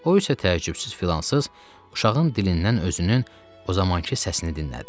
O isə təəccübsüz filansız uşağın dilindən özünün o zamankı səsini dinlədi.